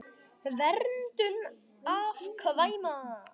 Verndun afkvæma